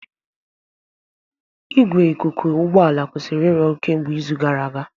Igwe ikuku ụgbọ ala kwụsịrị ịrụ ọrụ kemgbe izu gara aga.